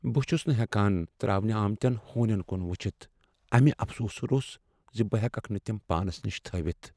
بہٕ چھس نہٕ ہٮ۪کان ترٛاونہٕ آمتٮ۪ن ہونٮ۪ن کن وٕچھتھ امہ افسوٗسہٕ روٚس ز بہٕ ہٮ۪ککھ نہٕ تم پانس نش تھٲوتھ۔